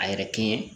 A yɛrɛ kɛɲɛ